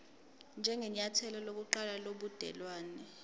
njengenyathelo lokuqala lobudelwane